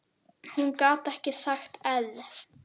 Hún gat ekki sagt err.